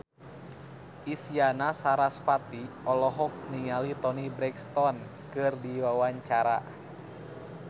Isyana Sarasvati olohok ningali Toni Brexton keur diwawancara